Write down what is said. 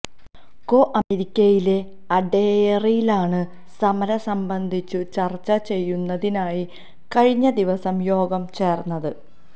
കോ ലിമെറിക്കിലെ അഡെയറിലാണ് സമരം സംബന്ധിച്ചു ചർച്ച ചെയ്യുന്നതിനായി കഴിഞ്ഞ ദിവസം യോഗം ചേർന്നത്